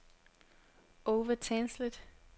Over Tandslet